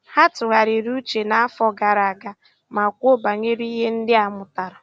Ha tụ̀ghàrị̀rì ùchè n'àfọ́ gààrà àga mà kwùó bànyèrè ihe ndí a mụ́tàra.